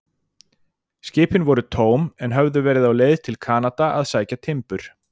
Skipin voru tóm, en höfðu verið á leið til Kanada að sækja timbur.